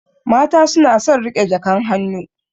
Mata suna son riƙe jakan hannu.